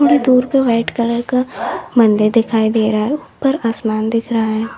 थोड़ी दूर पे वाइट कलर का मंदिर दिखाई दे रहा है ऊपर आसमान दिख रहा है।